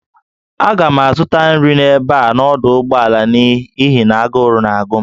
Aga m azụta nri n'ebe a n'ọdụ ụgbọala n'ihi na agụrụ na-agụ m